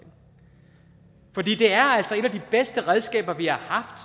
er altså et af de bedste redskaber vi har haft